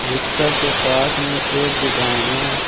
Rickshaw के पास में एक दुकान है।